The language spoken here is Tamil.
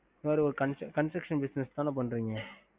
mam construction business தான படறீங்க